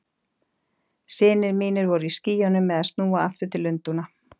Synir mínir voru í skýjunum með að snúa aftur til Lundúna.